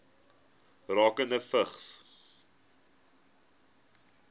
rakende vigs